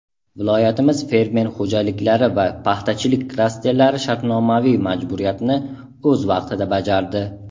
Viloyatimiz fermer xo‘jaliklari va paxtachilik klasterlari shartnomaviy majburiyatni o‘z vaqtida bajardi.